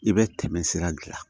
I bɛ tɛmɛ sira gilan